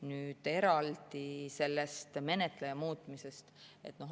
Nüüd eraldi sellest menetleja muutmisest.